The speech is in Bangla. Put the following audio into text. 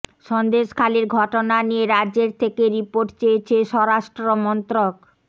সন্দেশখালির ঘটনা নিয়ে রাজ্যের থেকে রিপোর্ট চেয়েছে স্বরাষ্ট্রমন্ত্রক